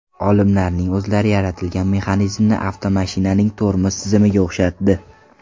Olimlarning o‘zlari yaratilgan mexanizmni avtomashinaning tormoz tizimiga o‘xshatdi.